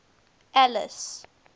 alice